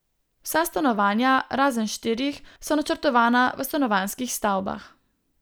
Vsa stanovanja, razen štirih, so načrtovana v stanovanjskih stavbah.